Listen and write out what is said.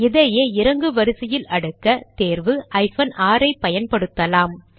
இதையே இறங்கு வரிசையில் அடுக்க தேர்வு ஹைபன் ஆர் ஐ பயன்படுத்தலாம்